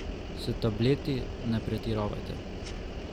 S tableti ne pretiravajte.